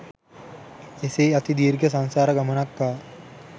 එසේ අති දීර්ඝ සංසාර ගමනක් ආ